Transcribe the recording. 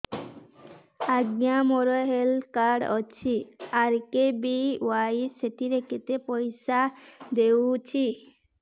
ଆଜ୍ଞା ମୋର health card ଅଛି ଆର୍.କେ.ବି.ୱାଇ ସେଥିରେ କେତେ ପଇସା ଦେଖଉଛି